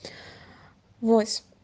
восем